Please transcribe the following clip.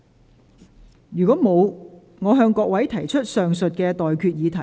我現在向各位提出上述待決議題。